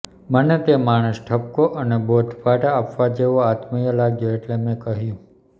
મને તે માણસ ઠપકો અને બોધપાઠ આપવા જેવો આત્મીય લાગ્યો એટલે મેં કહ્યું